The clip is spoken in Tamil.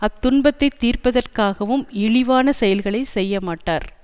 அத் துன்பத்தை தீர்ப்பதற்க்காகவும் இழிவானச் செயல்களை செய்ய மாட்டார்